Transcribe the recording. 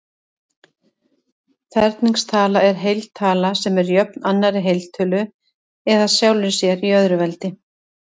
Ferningstala er heiltala sem er jöfn annarri heiltölu eða sjálfri sér í öðru veldi.